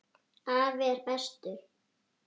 Afi er bestur.